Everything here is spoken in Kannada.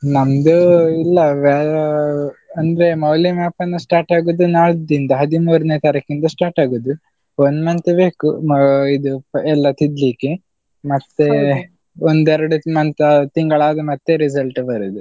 ನಮ್ದು ಇಲ್ಲ, ಅಂದ್ರೆ ಮೌಲ್ಯಮಾಪನ start ಆಗುದು ನಾಳ್ದಿಂದ, ಹದಿಮೂರನೇ ತಾರೀಕಿಂದ start ಆಗುದು, one month ಬೇಕು ಆ ಇದು ಎಲ್ಲಾ ತಿದ್ದಲಿಕ್ಕೆ, ಮತ್ತೆ ಒಂದೆರಡು month ತಿಂಗಳಾದ ಮತ್ತೆ result ಬರುದು.